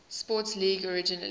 sports league originally